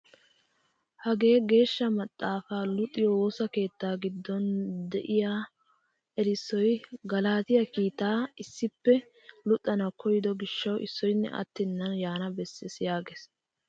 Hagee geeshsha maxaafaa luxiyoo woosa keettaa giddon de'iyaa erissoy "Galaatiyaa kiitaa" issippe luxxanawu koyido giishshawu issoynne attenan yaanawu bessees yaagees.